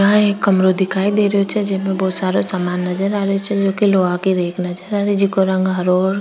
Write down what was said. यहाँ एक कमरा दिखाई दे रहो छे जेमा बहुत सारा सामान नजर आ रहो छे एक लोहा के रेक नजर आ रही जेको रंग हरो और --